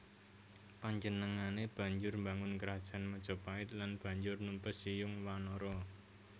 Panjenengané banjur mbangun Krajan Majapait lan banjur numpes Siyung Wanara